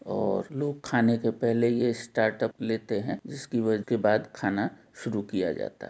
और लोग खाने के पहले ये स्टापट लेते हैं इस के बाद खाना शुरू किया जाता --